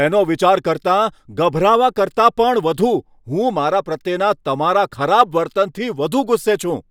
તેનો વિચાર કરતાં, ગભરાવા કરતાં પણ વધુ, હું મારા પ્રત્યેના તમારા ખરાબ વર્તનથી વધુ ગુસ્સે છું.